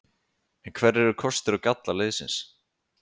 En hverjir eru kostir og gallar liðsins?